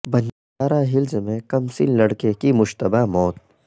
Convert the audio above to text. Banjara Hills میں کمسن لڑکے کی مشتبہ موت